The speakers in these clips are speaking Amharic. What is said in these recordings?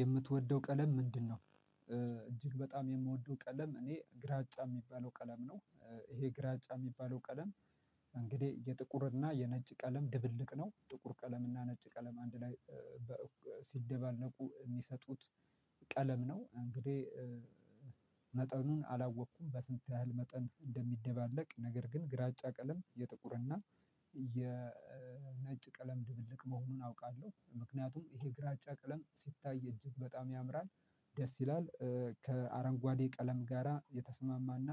የምትወደው ቀለም ምንድነው? እጅግ በጣም የምወደው ቀለም እኔ፤ ግራጫ የሚባለው ቀለም ነው። ይሄ ግራጫ የሚባለው ቀለም እንግዲህ የጥቁር እና የነጭ ቀለም ድብልቅ ነው። ጥቁር ቀለም እና ነጭ ቀለም አንድ ላይ ሲደባለቁ የሚሰጡት ቀለም ነው። እንግዲህ መጠኑን አላወቅኩም። በስንት ያህል መጠን እንደሚደባለቅ፤ ነገር ግን ግራጫ ቀለም የጥቁርና የነጭ ቀለም ድብልቅ መሆኑን አውቃለሁ። ምክንያቱም ይሄ ግራጫ ቀለም ሲታይ እጅግ በጣም ያምራል፤ ደስ ይላል ከአረንጓዴ ቀለም ጋራ የተስማማና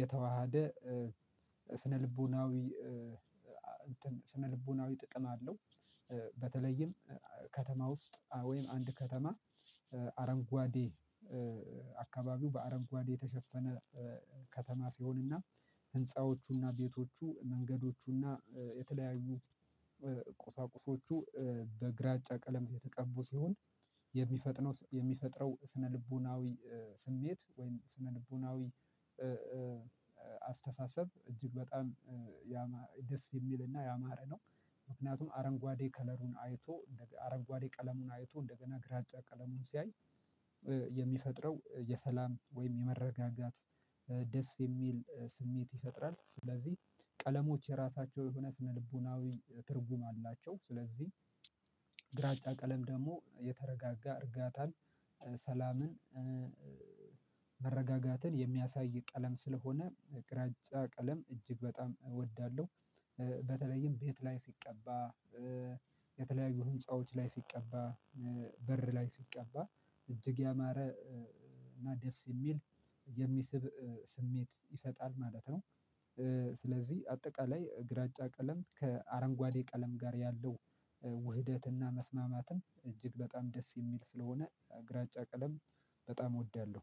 የተዋሃደ ስነልቦናዊ ስነልቦናዊ ጥቅም አለው። በተለይም ከተማ ውስጥ፣ ወይም አንድ ከተማ አረንጓዴ አካባቢው በአረንጓዴ የተሸፈነ ከተማ ሲሆንና ህንፃዎቹና፣ ቤቶቹ፣ መንገዶቹና፣ የተለያዩ ቁሳቁሶቹ በግራጫ ቀለም የተቀቡ ሲሆን፤ የሚፈጥነው የሚፈጥረው ስነልቦናዊ ስሜት ወይም ስነልቦናዊ አስተሳሰብ እጅግ በጣም ደስ የሚልና ያማረ ነው፤ ምክንያቱም አረንጓዴ ከለሩን አይቶ አረጓዴ ቀለሙን አይቶ እንደገና ግራጫ ቀለሙን ሲያይ የሚፈጥረው የሰላም ወይም የመረጋጋት፣ ደስ የሚል ስሜት ይፈጥራል። ስለዚህ ቀለሞች የራሳቸው የሆነ ስነልቦናዊ ትርጉም አላቸው። ስለዚህ ግራጫ ቀለም ደግሞ የተረጋጋ እርጋታን፣ ሰላምን መረጋጋትን የሚያሳይ ቀለም ስለሆነ፤ ግራጫ ቀለም እጅግ በጣም እወዳለሁ። በተለይም ቤት ላይ ሲቀባ፤ የተለያዩ ህንፃዎች ላይ ሲቀባ፤ በር ላይ ሲቀባ እጅግ ያማረ እና ደስ የሚል፣ የሚስብ ስሜት ይሰጣል ማለት ነው። ስለዚህ አጠቃላይ ግራጫ ቀለም ከአረንጓዴ ቀለም ጋር ያለው ውህደትና መስማማትም እጅግ በጣም ደስ የሚል ስለሆነ፤ ግራጫ ቀለም በጣም እወዳለሁ።